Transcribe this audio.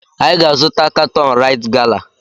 Anyị ga-azụta katọn raịt gala.